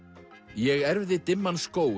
ég erfði dimman skóg